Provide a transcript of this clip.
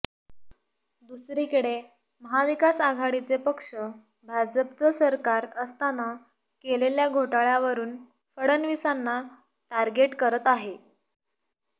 दुसरीकडे महाविकासआघाडीचे पक्ष भाजपचं सरकार असताना केलेल्या घोटाळ्यावरून फडणवीसांना टार्गेट करत आहेत